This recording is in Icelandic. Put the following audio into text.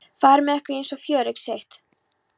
fari með ykkur eins og fjöregg sitt.